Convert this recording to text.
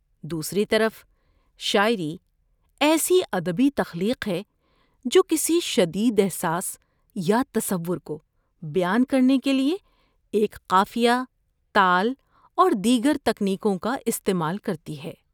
دوسری طرف، شاعری ایسی ادبی تخلیق ہے جو کسی شدید احساس یا تصور کو بیان کرنے کے لیے ایک قافیہ، تال اور دیگر تکنیکوں کا استعمال کرتی ہے۔